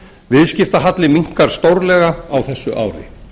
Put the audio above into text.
viðskiptahalli minnkar stórlega á þessu ári